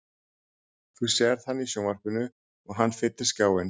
Þú sérð hann í sjónvarpinu og hann fyllir skjáinn.